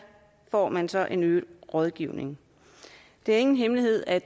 får man så en øget rådgivning det er ingen hemmelighed at